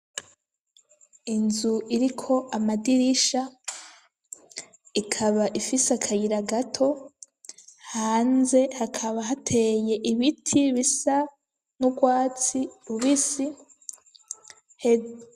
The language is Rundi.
Inzu iriko amadirisha ikaba ifise akayira gato hanze hakaba hateye ibiti bisa n'urwatsi rubisi he.